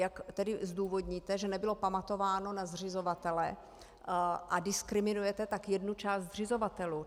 Jak tedy zdůvodníte, že nebylo pamatováno na zřizovatele, a diskriminujete tak jednu část zřizovatelů?